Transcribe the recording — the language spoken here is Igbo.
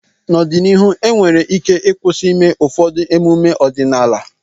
n'ọdịnihu enwere ike ịkwụsị ịme ụfọdụ emume ọdịnaala